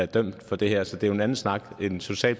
dømt for det her så det er jo en anden snak om en social